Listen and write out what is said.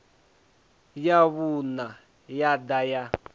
wa vhuṋa yo ḓa ya